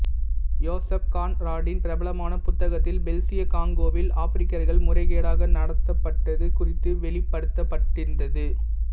யோசெப் கான்ராடின் பிரபலமான புத்தகத்தில் பெல்சிய காங்கோவில் ஆப்பிரிக்கர்கள் முறைகேடாக நடத்தப்பட்டது குறித்து வெளிப்படுத்தப்பட்டிருந்தது